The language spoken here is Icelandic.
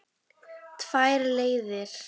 Tvær leiðir.